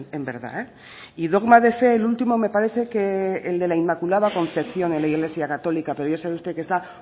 en verdad y dogma de fe el último me parece que el de la inmaculada concepción en la iglesia católica pero ya sabe usted que está